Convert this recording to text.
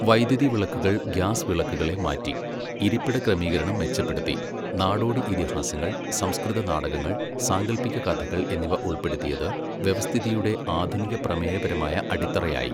വൈദ്യുതി വിളക്കുകൾ ഗ്യാസ് വിളക്കുകളെ മാറ്റി , ഇരിപ്പിട ക്രമീകരണം മെച്ചപ്പെടുത്തി, നാടോടി ഇതിഹാസങ്ങൾ, സംസ്കൃത നാടകങ്ങൾ, സാങ്കൽപ്പിക കഥകൾ എന്നിവ ഉൾപ്പെടുത്തിയത് വ്യവസ്ഥിതിയുടെ ആധുനിക പ്രമേയപരമായ അടിത്തറയായി.